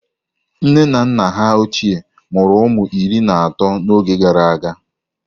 Nne na nna ha ochie mụrụ ụmụ iri na atọ n'oge gara aga.